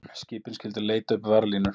Skipin skyldu leita uppi varðlínur